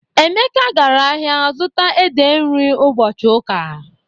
Emeka gara ahịa zụta ede nri ụbọchị ụka.